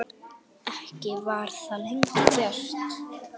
Ekki var það lengi gert.